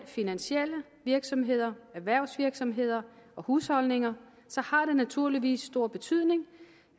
finansielle virksomheder såvel erhvervsvirksomheder og husholdninger har det naturligvis stor betydning